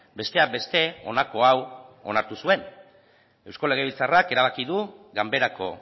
besteak beste honako hau onartu zuen eusko legebiltzarrak erabaki du ganberako